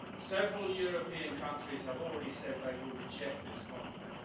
places. Several European countries have already said they will reject this compact.